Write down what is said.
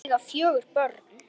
Þau eiga fjögur börn.